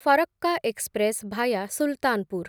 Farakka express via Sultanpur